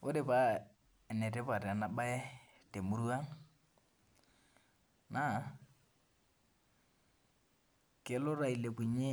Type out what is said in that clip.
Ore pa enetipat enabae temurua na kelo na ailepunye